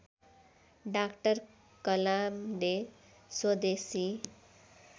doctor कलामले स्वदेशी